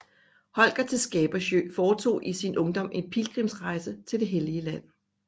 Holger til Skabersjö foretog i sin ungdom en pilgrimsrejse til det hellige Land